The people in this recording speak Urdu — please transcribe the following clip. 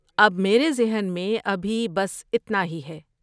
اب میرے ذہن میں ابھی بس اتنا ہی ہے۔